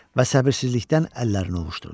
Və səbirsizlikdən əllərini ovuşdurdu.